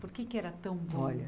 Por que era tão bom?